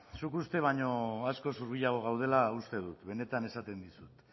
zuk uste baino askoz hurbilago gaudela uste dut benetan esaten dizut